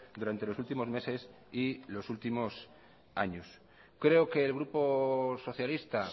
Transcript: durante los últimos meses y los últimos años creo que el grupo socialista